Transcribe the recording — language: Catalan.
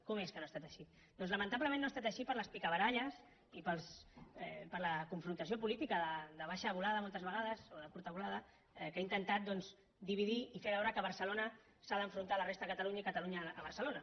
com és que no ha estat així doncs lamentablement no ha estat així per les picabaralles i per la confrontació política de baixa volada moltes vegades o de curta volada que ha intentat doncs dividir i fer veure que barcelona s’ha d’enfrontar a la resta de catalunya i catalunya a barcelona